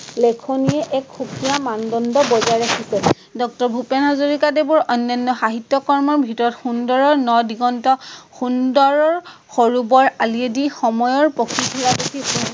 লেখনিয়ে এক সুকীয়া মানদণ্ড বাজাই ৰাখিছে। ডক্টৰ ভূপেন হাজৰিকাদেৱৰ অনান্য সাহিত্য কৰ্মৰ ভিতৰত সুন্দৰৰ ন-দিগন্ত, সুন্দৰৰ সৰু-বৰ আলিয়ে দি, সময়ৰ পক্ষী ঘোঁৰাত উঠি